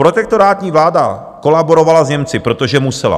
Protektorátní vláda kolaborovala s Němci, protože musela.